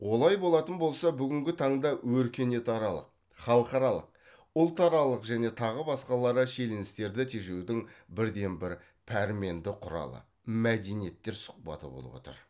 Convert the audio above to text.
олай болатын болса бүгінгі танда өркениетаралық халықаралық ұлтаралық және тағы басқалары шиеленістерді тежеудің бірден бір пәрменді құралы мәдениеттер сұхбаты болып отыр